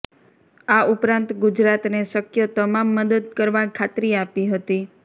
આ ઉપરાંત ગુજરાતને શક્ય તમામ મદદ કરવા ખાતરી આપી હતી